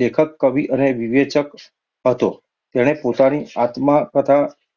લેખક, કવિ અને વિવેચક હતો. તેણે પોતાની આત્મકથા